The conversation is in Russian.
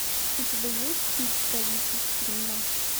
у тебя есть тит правитель рима